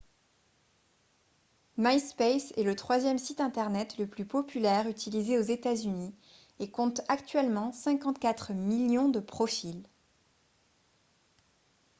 myspace est le troisième site internet le plus populaire utilisé aux états-unis et compte actuellement 54 millions de profils